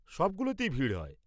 সবগুলোতেই ভিড় হয়।